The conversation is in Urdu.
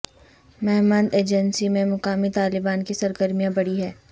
مہمند ایجنسی میں مقامی طالبان کی سرگرمیاں بڑھی ہیں